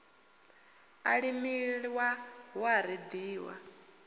a limiwa hu a reḓiwa